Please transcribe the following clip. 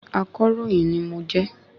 Akọ̀ròyìn ni mo jẹ́